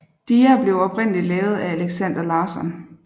Dia blev oprindeligt lavet af Alexander Larsson